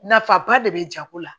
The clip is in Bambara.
Nafa ba de bɛ jago la